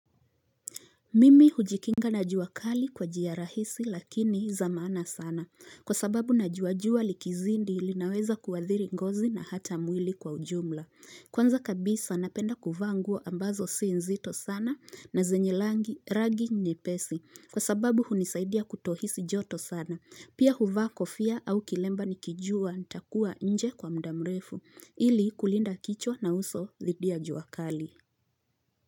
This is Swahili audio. Mimi hujikinga na jua kali kwa njia rahisi lakini zamana sana kwa sababu na jua jua likizindi ilinaweza kuwathiri ngozi na hata mwili kwa ujumla kwanza kabisa napenda kuvaa nguo ambazo si nzito sana na zenyi langi rangi nyepesi kwa sababu hunisaidia kutohisi joto sana pia huva kofia au kilemba nikijua ntakuwa nje kwa muda mrefu ili kulinda kichwa na uso lidia jua kali.